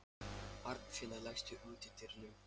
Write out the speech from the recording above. Arnfinna, læstu útidyrunum.